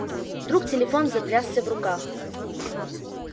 вдруг телефон затрясся в руках